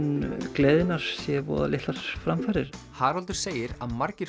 gleðinnar séu voða litlar framfarir Haraldur segir að margir